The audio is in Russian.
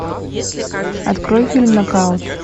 открой фильм нокаут